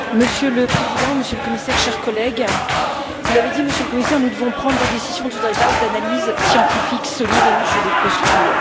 Monsieur le Président, Monsieur le Commissaire, chers collègues, vous l'avez dit, Monsieur le Commissaire, nous devons prendre des décisions sur lades bases d'analyses scientifiques solides et non sur des postures.